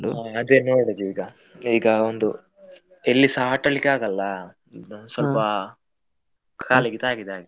ಹ ಅದೇ ನೋಡುದು ಈಗ, ಈಗ ಒಂದು ಎಲ್ಲಿಸಾ ಆಟ ಆಡ್ಲಿಕ್ಕೆ ಆಗಲ್ಲ ಸ್ವಲ್ಪ ಕಾಲಿಗೆ ತಾಗಿದೆ ಹಾಗೆ.